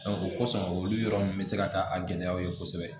o kosɔn olu yɔrɔ ninnu bɛ se ka taa a gɛlɛyaw ye kosɛbɛ